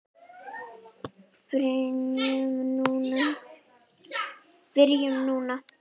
Byrjum núna.